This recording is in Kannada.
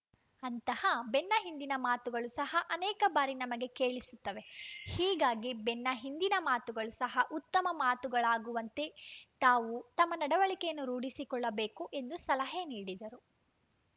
ಅಂತಹ ಬೆನ್ನ ಹಿಂದಿನ ಮಾತುಗಳು ಸಹ ಅನೇಕ ಬಾರಿ ನಮಗೆ ಕೇಳಿಸುತ್ತವೆ ಹೀಗಾಗಿ ಬೆನ್ನ ಹಿಂದಿನ ಮಾತುಗಳು ಸಹ ಉತ್ತಮ ಮಾತುಗಳಾಗುವಂತೆ ತಾವು ತಮ್ಮ ನಡವಳಿಕೆಯನ್ನು ರೂಢಿಸಿಕೊಳ್ಳಬೇಕು ಎಂದು ಸಲಹೆ ನೀಡಿದರು